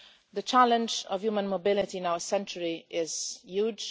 The challenge of human mobility in our century is huge.